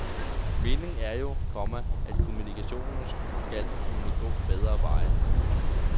Meningen er jo, komma at kommunikationen skal kunne gå bedre veje. punktum